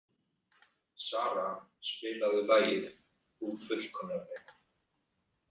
Sara, spilaðu lagið „Þú fullkomnar mig“.